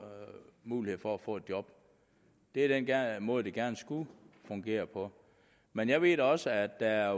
muligheder for at få et job det er den måde det gerne skulle fungere på men jeg ved da også at der er